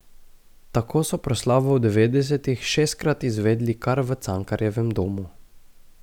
Tako so proslavo v devetdesetih šestkrat izvedli kar v Cankarjevem domu.